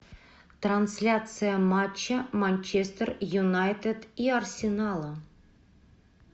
трансляция матча манчестер юнайтед и арсенала